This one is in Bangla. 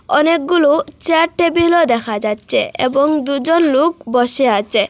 অনেকগুলো চেয়ার টেবিলও দেখা যাচ্ছে এবং দুজন লোক বসে আছে।